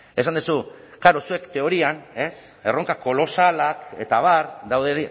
esan duzu klaro zuek teorian erronka kolosalak eta abar daude